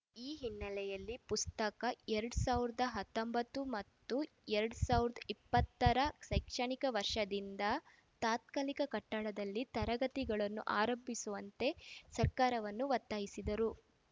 ಈ ಹಿನ್ನೆಲೆಯಲ್ಲಿ ಪ್ರಸಕ್ತ ಎರಡ್ ಸಾವಿರದ ಹತ್ತೊಂಬತ್ತು ಮತ್ತು ಎರಡ್ ಸಾವಿರದ ಇಪ್ಪತ್ತರ ಶೈಕ್ಷಣಿಕ ವರ್ಷದಿಂದ ತಾತ್ಕಾಲಿಕ ಕಟ್ಟಡದಲ್ಲಿ ತರಗತಿಗಳನ್ನು ಆರಂಭಿಸುವಂತೆ ಸರ್ಕಾರವನ್ನು ಒತ್ತಾಯಿಸಿದರು